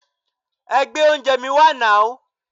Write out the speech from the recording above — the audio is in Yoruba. Ẹ gbé oúnjẹẹ̀ mi wá nàú!